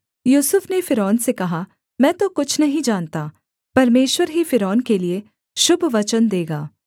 यूसुफ ने फ़िरौन से कहा मैं तो कुछ नहीं जानता परमेश्वर ही फ़िरौन के लिये शुभ वचन देगा